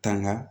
Tanga